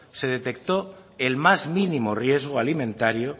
se detectó el más mínimo riesgo alimentario